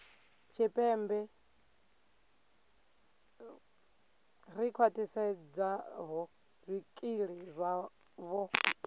tshipembe ḽi khwaṱhisedzaho zwikili zwavho